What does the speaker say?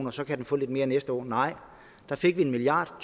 og så kan den få lidt mere næste år nej der fik vi en milliard